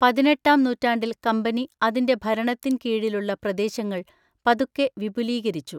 പതിനെട്ടാം നൂറ്റാണ്ടിൽ കമ്പനി അതിന്റെ ഭരണത്തിൻ കീഴിലുള്ള പ്രദേശങ്ങൾ പതുക്കെ വിപുലീകരിച്ചു.